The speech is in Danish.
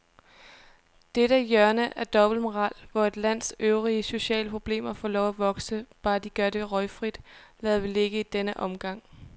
Dette hjørne af dobbeltmoral, hvor et lands øvrige sociale problemer får lov at vokse, bare de gør det røgfrit, lader vi ligge i denne omgang.